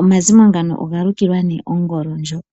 omazimo ngano ogalukilwa ongolo ndjoka.